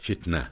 Fitnə.